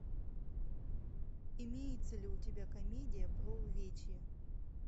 имеется ли у тебя комедия про увечья